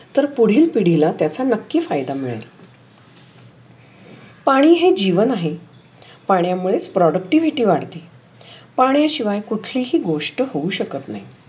तर पुढील पिडिला त्याचा नक्की फायदा मिळेल. पाणी हे जीवन आहे. पाण्या मुळे प्रॉडक्टिव्हिटी वाढते. पाण्या शिवाय कुठलीही गोष्ट होऊ शकत नाही.